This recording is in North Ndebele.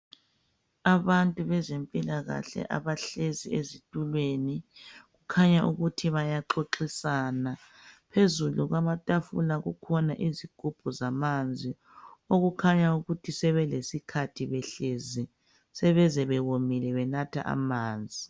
Abantu bezempilakahle abahlezi ezitulweni kukhanya ukuthi bayaxoxisana phezulu kwamatafula kukhona izigubhu zamanzi okukhanya ukuthi sebelesikhathi behlezi sebeze bewomile benatha amanzi.